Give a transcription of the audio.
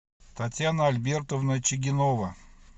татьяна альбертовна чигинова